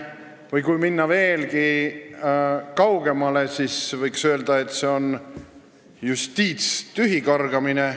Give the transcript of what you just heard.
Või kui minna veelgi kaugemale, siis võiks öelda, et see on justiitstühikargamine.